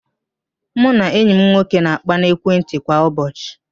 Mụ na enyi m nwoke na-akpa n'ekwentị kwa ụbọchị